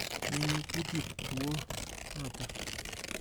Menyee kutit kuo noto.